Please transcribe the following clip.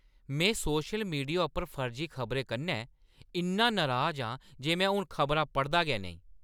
में social media उप्पर फर्जी खबरें कन्नै इन्ना नराज आं जे में हून खबरां पढ़दा गै नेईं।